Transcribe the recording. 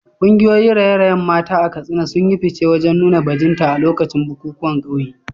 Kungiyoyin raye-rayen mata a Katsina sun yi fice wajen nuna bajinta a lokacin bukukuwan kauye.